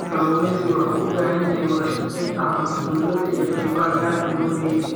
Kalluumeysigu wuxuu u baahan yahay wadashaqeyn dhexmarta dowladda iyo qaybaha gaarka loo leeyahay.